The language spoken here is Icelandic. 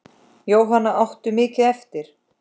Jóhanna: Áttirðu mikið eftir?